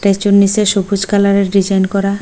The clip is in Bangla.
একজন নীচে সবুজ কালারের ডিজাইন করা।